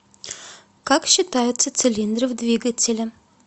как считаются цилиндры в двигателе